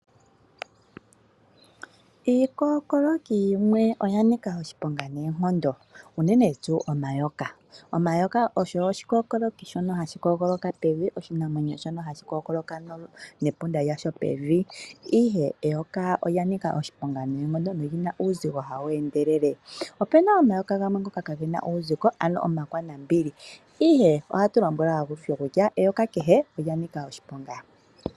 Iikookoloki yimwe oya nika oshiponga noonkondo unene tuu omayoka. Omayoka ogo iikookoloki mbyoka hayi kookoloka pevi. Iinamwenyo mbyono hayi kookoloka nomapunda gayo pevi kakele kwaashono eyoka olya nika oshiponga noonkondo, olina uuzigo hawu endelele. Opuna omayoka ngoka kaagena uuzigo omakwanambili ihe ohatu lombwelwa olundji kutya eyoka olya nika oshiponga.